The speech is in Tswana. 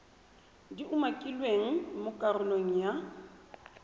di umakilweng mo karolong ya